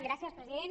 gràcies president